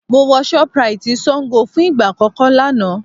Mo wọ shoprite Sango fún ìgbà àkọ́kọ́ lánàá